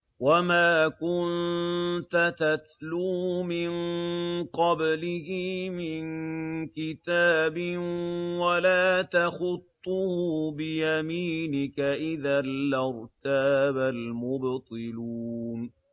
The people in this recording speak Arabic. وَمَا كُنتَ تَتْلُو مِن قَبْلِهِ مِن كِتَابٍ وَلَا تَخُطُّهُ بِيَمِينِكَ ۖ إِذًا لَّارْتَابَ الْمُبْطِلُونَ